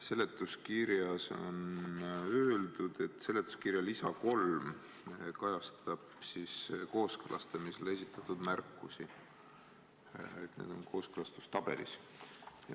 Seletuskirjas on öeldud, et seletuskirja lisa 3 kajastab kooskõlastamisele esitatud märkusi, et need on kooskõlastustabelis.